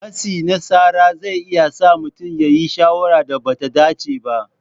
Matsi na tsara zai iya sa mutum ya yi shawarar da ba ta dace ba.